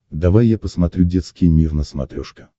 давай я посмотрю детский мир на смотрешке